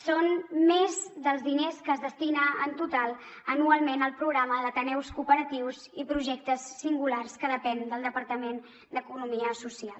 són més dels diners que es destinen en total anualment al programa d’ateneus cooperatius i projectes singulars que depenen del departament d’economia social